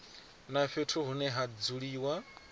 na fhethu hune ha dzuliwa